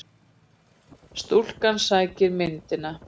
Stúlkan sækir myndina.